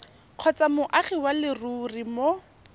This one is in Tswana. kgotsa moagi wa leruri mo